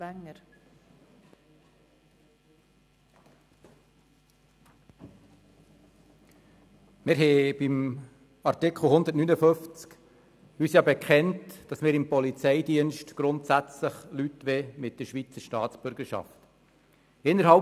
der SiK. Wir haben uns beim Artikel 159 dazu bekannt, dass wir im Polizeidienst Personen mit der Schweizer Staatsbürgerschaft bevorzugen.